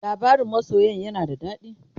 labarain masoyan yana da dadi?